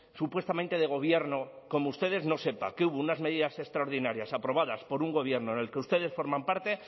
supuestamente de gobierno como ustedes no sepa que hubo unas medidas extraordinarias aprobadas por un gobierno en el que ustedes forman parte